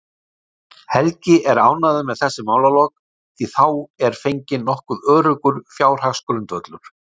Helgi er ánægður með þessi málalok, því þá er fenginn nokkuð öruggur fjárhagsgrundvöllur.